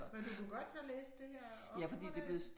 Men du kunne godt så læse det her op og det